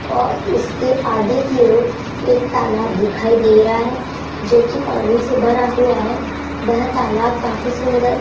और उसके आगे की ओर एक तालाब दिखाई दे रहा है जोकि पानी से भरा हुआ है वह तालाब काफी सुंदर --